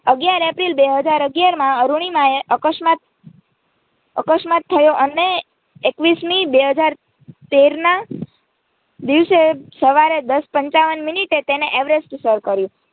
અગિયાર એપ્રિલ બે હાજર અગિયારમાં અરૂણિમા અકસ્માત અકસ્માત થયો અને એકવીસમી બે હાજર તેર ના દિવસે સવારે દસ પંચાવન મિનિટે તેણે એવરેસ્ટ સર કર્યું.